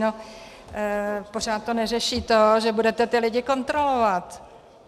No pořád to neřeší to, že budete ty lidi kontrolovat.